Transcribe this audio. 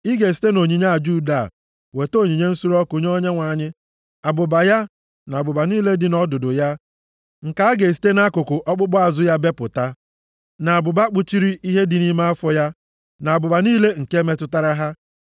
Ị ga-esite nʼonyinye aja udo a, weta onyinye nsure ọkụ nye Onyenwe anyị: abụba ya, na abụba niile dị nʼọdụdụ ya nke a ga-esite nʼakụkụ ọkpụkpụ azụ ya bepụta, na abụba kpuchiri ihe dị nʼime afọ ya; na abụba niile nke metụtara ha,